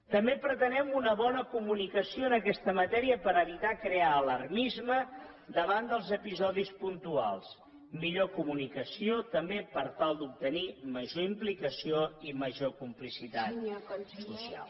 també pretenem una bona comunicació en aquesta matèria per evitar crear alarmisme davant dels episodis puntuals millor comunicació també per tal d’obtenir major implicació i major complicitat social